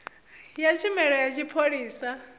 ya tshumelo ya tshipholisa ya